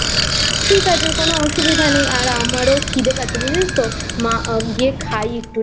ঠিক আছে কোনো অসুবিধা নেই আর আমারও খিদে পাচ্ছে বুঝেছিস তো না গিয়ে খাই একটু